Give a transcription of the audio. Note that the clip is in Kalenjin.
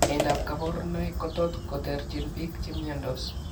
Yaaindab kaborunoik kotot koterchin biik chemiondos